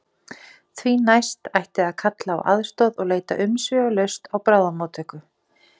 Því næst ætti að kalla á aðstoð og leita umsvifalaust á bráðamóttöku.